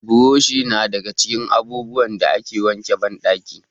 Buroshi na daga cikin abubuwan da ake wanke banɗaki.